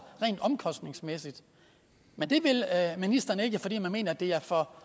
rent omkostningsmæssigt men det vil ministeren ikke fordi man mener at det er for